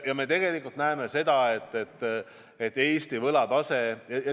Me näeme Eesti võlataset.